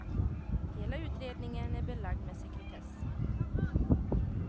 Hela utredningen är belagd med sekretess.